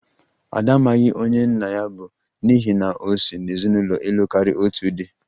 Ada amaghị onye nna ya bụ, n'ihi na o si n'ezinụlọ ịlụ karia otu di